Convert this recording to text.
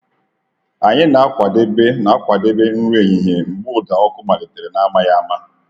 Anyị na-akwadebe na-akwadebe nri ehihie mgbe ụda ọkụ malitere n’amaghị ama.